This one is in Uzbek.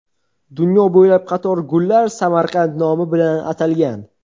Dunyo bo‘ylab qator gullar Samarqand nomi bilan atalgan.